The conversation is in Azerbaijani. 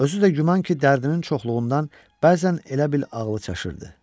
Özü də güman ki, dərdinin çoxluğundan bəzən elə bil ağlı çaşırdı.